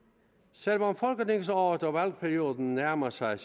selv om folketingsåret og valgperioden nærmer sig